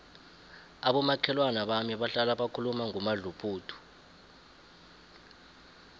abomakhelwana bami bahlala bakhuluma ngomadluphuthu